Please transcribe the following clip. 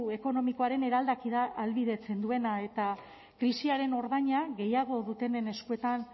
ekonomikoaren eraldaketa ahalbidetzen duena eta krisiaren ordaina gehiago dutenen eskuetan